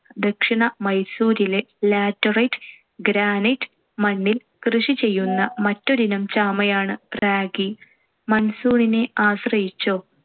ദക്ഷിണ മൈസൂരിലെ laterite, granite മണ്ണിൽ കൃഷി ചെയ്യുന്ന മറ്റൊരിനം ചാമയാണ്‌ ragi. monsoon നെ ആശ്രയിച്ചോ